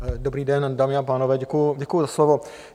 Dobrý den, dámy a pánové, děkuji za slovo.